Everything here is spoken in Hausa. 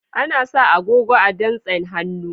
Ana sa agogo a dantsin hannu.